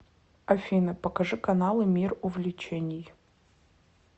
афина покажи каналы мир увлечений